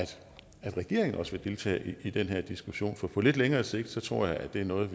regeringen også vil deltage i den diskussion for på lidt længere sigt tror jeg at det er noget